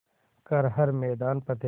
कर हर मैदान फ़तेह